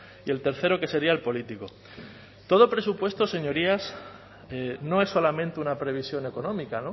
y el tercero que sería el político todo presupuesto señorías no es solamente una previsión económica